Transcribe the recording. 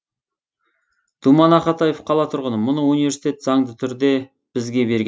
думан ақатаев қала тұрғыны мұны университет заңды түрде бізге берген